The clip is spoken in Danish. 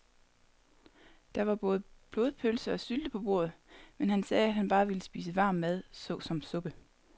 Der var både blodpølse og sylte på bordet, men han sagde, at han bare ville spise varm mad såsom suppe.